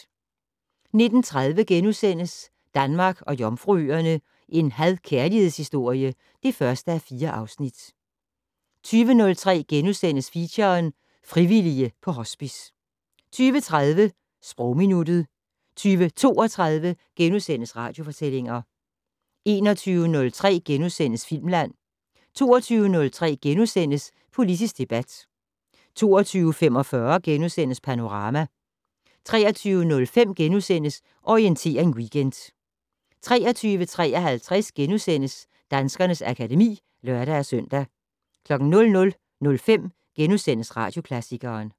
19:30: Danmark og Jomfruøerne - en had/kærlighedshistorie (1:4)* 20:03: Feature: Frivillige på Hospice * 20:30: Sprogminuttet 20:32: Radiofortællinger * 21:03: Filmland * 22:03: Politisk debat * 22:45: Panorama * 23:05: Orientering Weekend * 23:53: Danskernes akademi *(lør-søn) 00:05: Radioklassikeren *